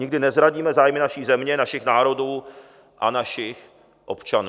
Nikdy nezradíme zájmy naší země, našich národů a našich občanů.